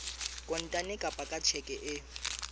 kontane kapa ka tjheke e